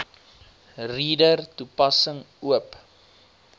reader toepassing oop